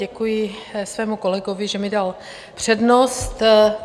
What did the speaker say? Děkuji svému kolegovi, že mi dal přednost.